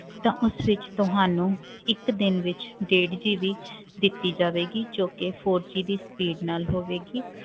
ਤਾਂ ਉਸ ਵਿੱਚ ਤੁਹਾਨੂੰ ਇੱਕ ਦਿਨ ਵਿੱਚ ਡੇਢ GB ਦਿੱਤੀ ਜਾਵੇਗੀ ਜੋ ਕਿ four G ਦੀ speed ਨਾਲ ਹੋਵੇਗੀ